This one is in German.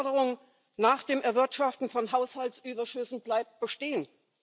Die Forderung nach dem Erwirtschaften von Haushaltsüberschüssen bleibt bestehen.